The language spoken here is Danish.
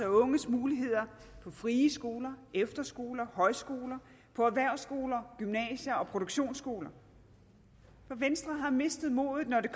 og unges muligheder på frie skoler efterskoler højskoler på erhvervsskoler gymnasier og produktionsskoler for venstre har mistet modet når det